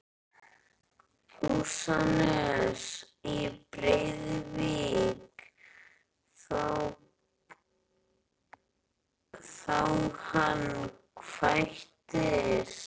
Húsanes í Breiðuvík þá hann kvæntist.